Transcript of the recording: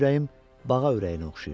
Mənim ürəyim bağa ürəyinə oxşayır.